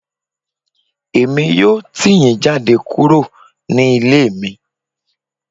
Èmi yóò tì yín jáde kúrò ní ilé mi